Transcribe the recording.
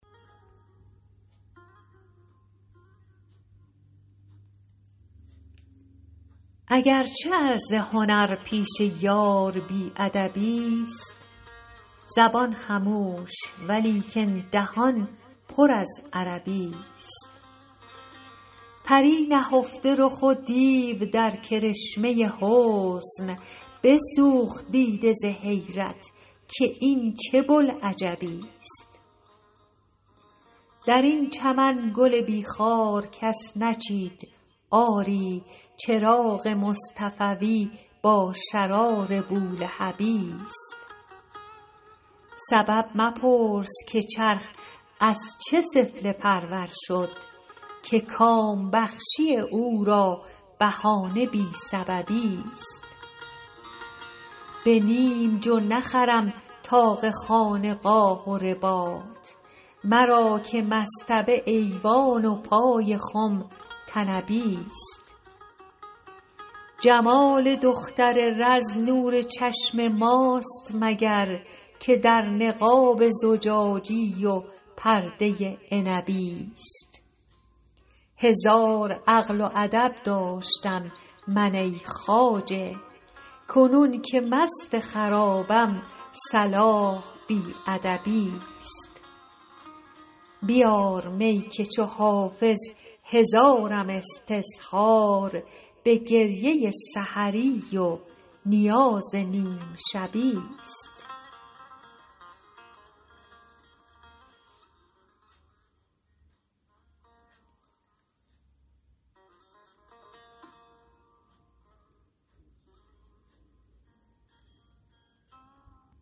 اگر چه عرض هنر پیش یار بی ادبی ست زبان خموش ولیکن دهان پر از عربی ست پری نهفته رخ و دیو در کرشمه حسن بسوخت دیده ز حیرت که این چه بوالعجبی ست در این چمن گل بی خار کس نچید آری چراغ مصطفوی با شرار بولهبی ست سبب مپرس که چرخ از چه سفله پرور شد که کام بخشی او را بهانه بی سببی ست به نیم جو نخرم طاق خانقاه و رباط مرا که مصطبه ایوان و پای خم طنبی ست جمال دختر رز نور چشم ماست مگر که در نقاب زجاجی و پرده عنبی ست هزار عقل و ادب داشتم من ای خواجه کنون که مست خرابم صلاح بی ادبی ست بیار می که چو حافظ هزارم استظهار به گریه سحری و نیاز نیم شبی ست